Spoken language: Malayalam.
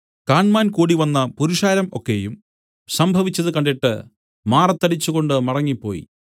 കാണ്മാൻ കൂടിവന്ന പുരുഷാരം ഒക്കെയും സംഭവിച്ചത് കണ്ടിട്ട് മാറത്തടിച്ചുകൊണ്ടു മടങ്ങിപ്പോയി